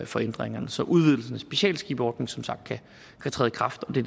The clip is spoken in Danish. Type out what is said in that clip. for ændringerne så udvidelsen af specialskibsordningen som sagt kan træde i kraft og det